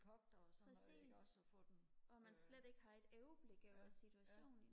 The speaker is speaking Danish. præcis hvor man slet ikke har et overblik over situationen